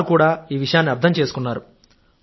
వారు కూడా ఈ విషయాన్ని అర్థం చేసుకుంటారు